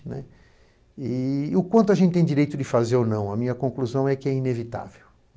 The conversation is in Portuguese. Né. E o quanto a gente tem direito de fazer ou não, a minha conclusão é que é inevitável.